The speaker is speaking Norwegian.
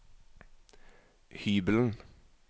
hybelen